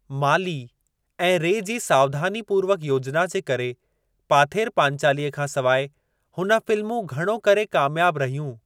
माली ऐं रे जी सावधानीपूर्वक योजना जे करे, पाथेर पांचालीअ खां सिवाइ हुन फ़िल्मूं घणो करे कामयाब रहियूं।